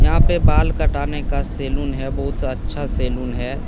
यहां पे बाल काटाने का सैलून है बहुत अच्छा सैलून है।